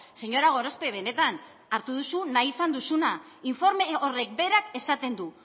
señora gorospe benetan hartu duzu nahi izan duzuna informe horrek berak esaten du